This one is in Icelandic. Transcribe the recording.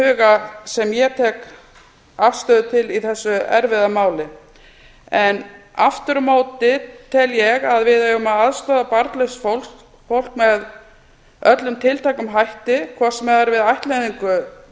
huga sem ég tek afstöðu til í þessu erfiða máli en aftur á móti tel ég að við eigum að aðstoða barnlaust fólk með öllum tiltækum hætti hvort sem það er við ættleiðingu